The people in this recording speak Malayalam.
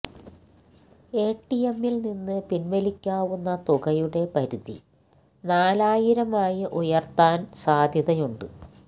എടിഎമ്മില് നിന്ന് പിന്വലിക്കാവുന്ന തുകയുടെ പരിധി നാലായിരമായി ഉയര്ത്താന് സാധ്യതയുണ്ട്